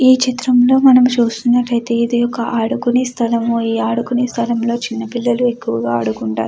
చిత్రంలో మనం చూసుకున్నట్లయితే ఇది ఒక ఆడుకునే స్థలము ఆడుకునే స్థలంలోని చిన్న పిల్లలు ఎకువగా ఆదుకుంటారు.